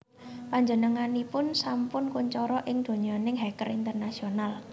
Panjenenganipun sampun kuncara ing donyaning hacker internasional